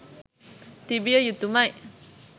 තිබිය යුතුමයි.